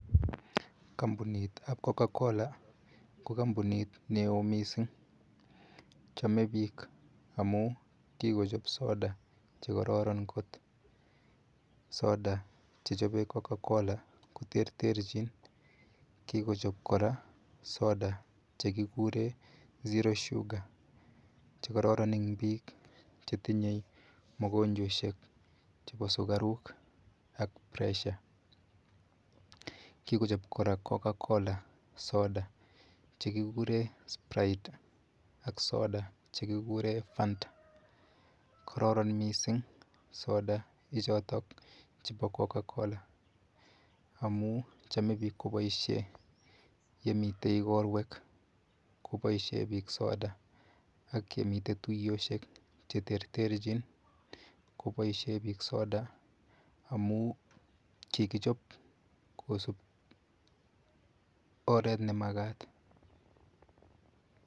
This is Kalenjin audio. Kampunitab Cocacola ko kampunit neo Mising. Chamei bik amu kikochop soda chekororon kot. Soda chechobei cocacola koterterchin. Kikichob kora soda chekikure ZERO SUGAR chekororon eng bik chetinye mokonjweshek chebo sukaruk